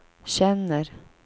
känner